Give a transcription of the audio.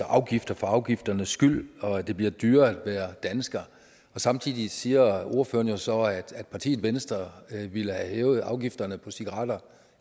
afgifter for afgifternes skyld og at det bliver dyrere at være dansker samtidig siger ordføreren jo så at partiet venstre ville have hævet afgifterne på cigaretter